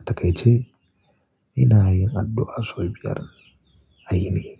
A taƙaice ina yin addu'a sau biyar a yini.